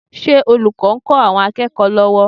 Ṣé olùkọ́ ń kọ́ àwọn akẹ́kọ̀ọ́ lọ́wọ́?